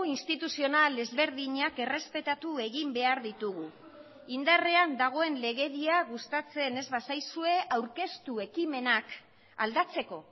instituzional ezberdinak errespetatu egin behar ditugu indarrean dagoen legedia gustatzen ez bazaizue aurkeztu ekimenak aldatzeko